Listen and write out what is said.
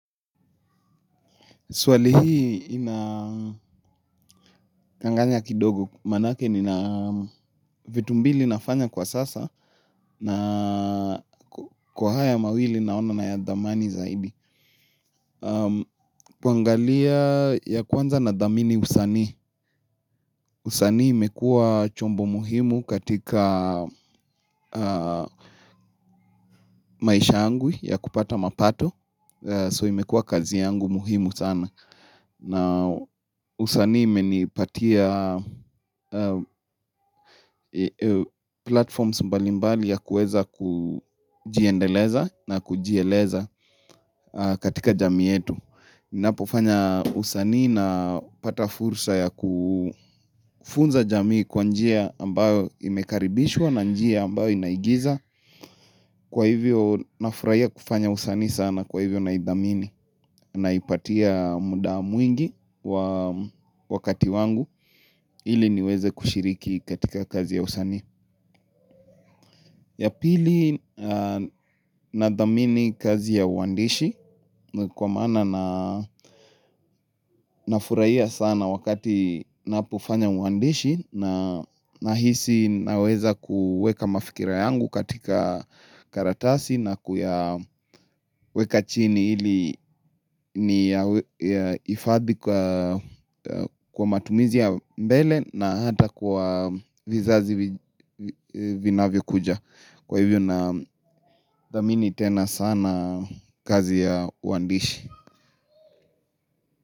Swali hii inakanganya kidogo. Maanake nina vitu mbili nafanya kwa sasa na kwa haya mawili naona na ya dhamani zaidi. Kuangalia ya kwanza nadhamini usani. Usanii imekua chombo muhimu katika maisha yangu ya kupata mapato. So imekua kazi yangu muhimu sana. Na usanii imenipatia platforms mbalimbali ya kuweza kujiendeleza na kujieleza katika jamii yetu ninapofanya usani napata fursa ya kufunza jamii kwa njia ambayo imekaribishwa na njia ambayo inaigiza. Kwa hivyo nafurahia kufanya usanii sana kwa hivyo na idhamini. Naipatia muda mwingi wakati wangu ili niweze kushiriki katika kazi ya usanii. Ya pili nadhamini kazi ya uandishi. Kwa maana na nafurahia sana wakati napofanya uandishi. Nahisi naweza kuweka mafikira yangu katika karatasi. Na kuyaweka chini ili niyahifadhi kwa matumizi ya mbele na hata kwa vizazi vinavyokuja. Kwa hivyo nadhamini tena sana kazi ya uandishi.